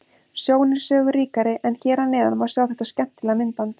Sjón er sögu ríkari en hér að neðan má sjá þetta skemmtilega myndband.